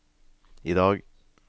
idag